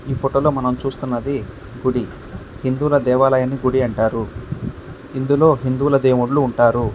ఈ ఫోటో లో మనం చూస్తున్నది గుడి. హిందువుల దేవాలయాన్ని గుడి అంటారు. ఇందులో హిందువుల దేవుళ్ళు ఉంటారు.